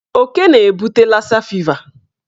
Oke na-ebute lasa fiva.